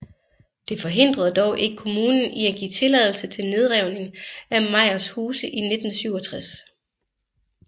Det forhindrede dog ikke kommunen i at give tilladelse til nedrivning af Meyers huse i 1967